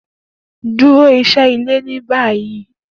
Duro iṣẹ ile ni bayi!